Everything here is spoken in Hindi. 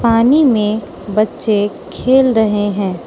पानी मे बच्चे खेल रहे है।